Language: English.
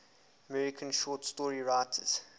american short story writers